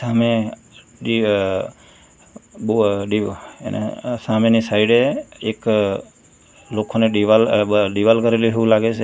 અને ડી અહ બોવ ડીવ એને અહ સામેની સાઇડે એક લોખંડની દિવાલ અહ બ દિવાલ કરેલી હોય એવું લાગે છે.